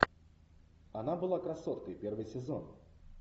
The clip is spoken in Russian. она была красоткой первый сезон